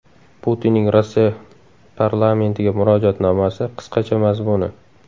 Putinning Rossiya parlamentiga murojaatnomasi qisqacha mazmuni.